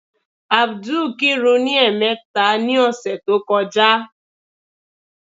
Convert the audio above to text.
Ábúdù kirun ní ẹ̀ẹ̀mẹta ní ọ̀sẹ̀ tó ń bọ̀.